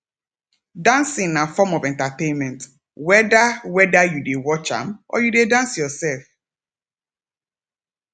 dancing na form of entertainment whether whether you de watch am or you de dance yourself